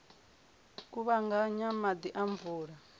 u kuvhanganya maḓi a mvula